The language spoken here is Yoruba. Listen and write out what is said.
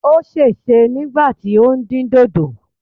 Ó sèse nígbà tí ó ń dín dòdò.